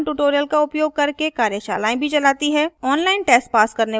online test pass करने वालों को प्रमाणपत्र भी देते हैं